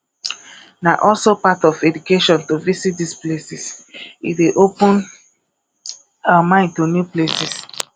na also part of education to visit these places e dey open our mind to new places